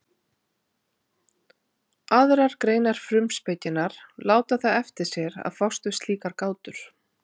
aðrar greinar frumspekinnar láta það eftir sér að fást við slíkar gátur